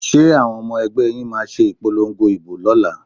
Ṣé àwọn ọmọ ẹgbẹ́ yín máa ṣe ìpolongo ìbò lọ́la?